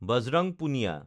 Bajrang Punia